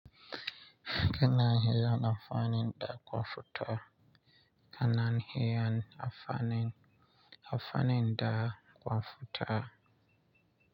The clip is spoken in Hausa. Kana haya amfanin da kwafuta. Kana hayan amfanin da kwamfuta.